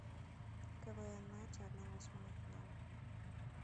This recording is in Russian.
квн нате одна восьмая финала